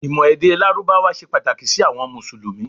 ìmọ̀ èdè lárúbáwá se Pataki si awọn musulumi